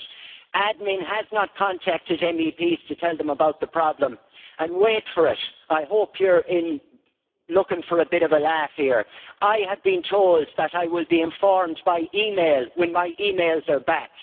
The administration has not contacted MEPs to tell them about the problem, and, wait for it I hope you are looking for a bit of a laugh here I had been told that I would be informed by email when my emails are back.